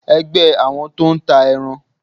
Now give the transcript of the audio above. ẹgbẹ àwọn tó n tà erán